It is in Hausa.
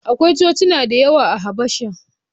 Akwai Cocina da yawa a Habasha.